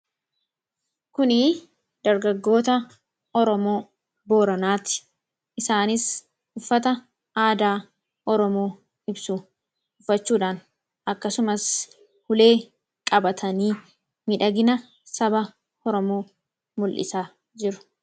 Kunii dargaggoota Oromoo Boranaati. Isaanis uffataa aadaa Oromoo ibsuu uffachuudhaan akkasumaas ulee qabatanii midhagina saba Oromoo mul'isaa jiru.